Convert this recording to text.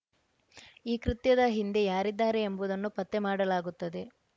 ಈ ಕೃತ್ಯದ ಹಿಂದೆ ಯಾರಿದ್ದಾರೆ ಎಂಬುದನ್ನು ಪತ್ತೆ ಮಾಡಲಾಗುತ್ತದೆ